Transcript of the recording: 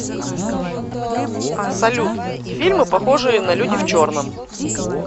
салют фильмы похожие на люди в черном